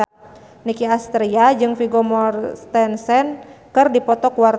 Nicky Astria jeung Vigo Mortensen keur dipoto ku wartawan